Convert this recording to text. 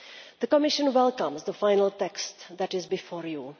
The Commission welcomes the final text that is before you.